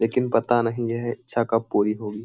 लेकिन पता नहीं यह इच्छा कब पूरी होगी।